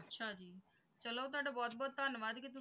ਚਲੋ ਤੁਹਾਡਾ ਬਹੁਤ-ਬਹੁਤ ਧੰਨਵਾਦ ਕਿ